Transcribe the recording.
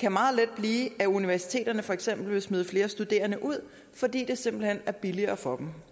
kan meget let blive at universiteterne for eksempel vil smide flere studerende ud fordi det simpelt hen er billigere for dem